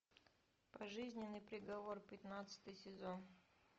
пожизненный приговор пятнадцатый сезон